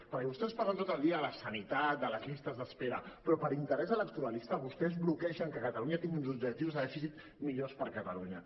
perquè vostès parlen tot el dia de la sanitat de les llistes d’espera però per interès electoralista vostès bloquegen que catalunya tingui uns objectius de dèficit millors per a catalunya